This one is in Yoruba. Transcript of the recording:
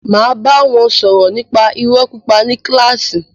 Máa bá wọn sọ̀rọ̀ nípa irọ́ pípa ní kílàsì.